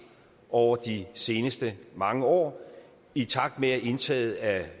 over de seneste mange år i takt med at indtaget af